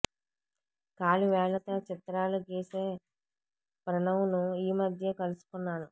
కాలి వేళ్లతో చిత్రాలు గీసే ప్రణవ్ను ఈ మధ్యే కలుసుకున్నాను